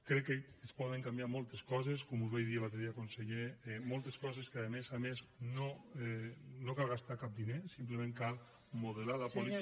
crec que es poden canviar moltes coses com us vaig dir l’altre dia conseller moltes coses en què a més a més no cal gastar cap diner simplement cal modelar la política